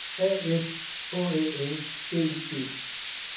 A F H Æ N G I G